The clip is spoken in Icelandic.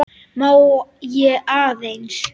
Má ég aðeins!